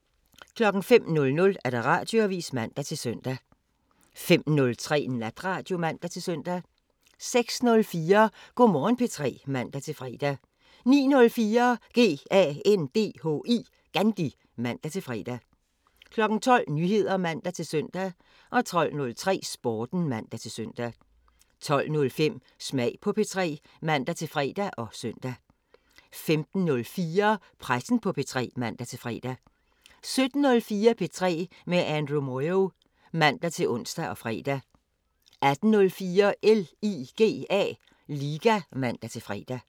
05:00: Radioavisen (man-søn) 05:03: Natradio (man-søn) 06:04: Go' Morgen P3 (man-fre) 09:04: GANDHI (man-fre) 12:00: Nyheder (man-søn) 12:03: Sporten (man-søn) 12:05: Smag på P3 (man-fre og søn) 15:04: Pressen på P3 (man-fre) 17:04: P3 med Andrew Moyo (man-ons og fre) 18:04: LIGA (man-fre)